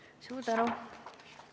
Suur tänu!